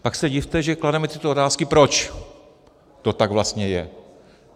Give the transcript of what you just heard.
Pak se divte, že klademe tyto otázky, proč to tak vlastně je.